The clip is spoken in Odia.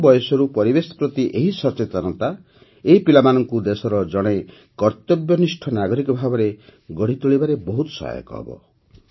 କମ୍ ବୟସରୁ ପରିବେଶ ପ୍ରତି ଏହି ସଚେତନତା ଏହି ପିଲାମାନଙ୍କୁ ଦେଶର ଜଣେ କର୍ତ୍ତବ୍ୟନିଷ୍ଠ ନାଗରିକ ଭାବରେ ଗଢ଼ିତୋଳିବାରେ ବହୁତ ସହାୟକ ହେବ